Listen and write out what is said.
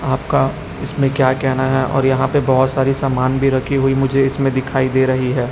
आपका इसमें क्या कहेना है और यहां पे बहोत सारी सामान भी रखी हुई मुझे इसमें दिखाई दे रही है।